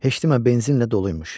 Heşdimə benzinlə doluymuş.